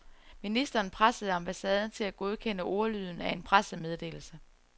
Ministeren pressede ambassaden til at godkende ordlyden af en pressemeddelelse.